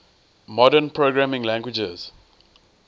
modern programming languages